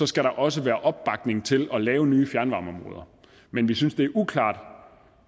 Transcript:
skal der også være opbakning til at lave nye fjernvarmeområder men vi synes det er uklart